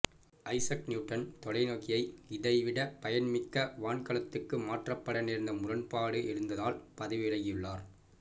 Isaac Newton தொலைநோகியை இதைவிட பயன்மிக்க வான்காணகத்துக்கு மாற்றப்பட நேர்ந்த முரண்பாடு எழுந்ததால் பதவி விலகியுள்ளார்